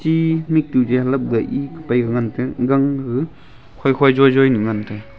e mitu ya lepgay ei pai ngan taga gang gag khoye khoye joy joy nu ngan taga.